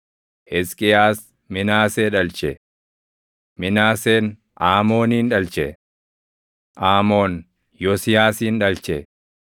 Hisqiyaas Minaasee dhalche; Minaaseen Aamoonin dhalche; Aamoon Yosiyaasin dhalche;